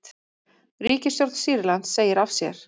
Ríkisstjórn Sýrlands segir af sér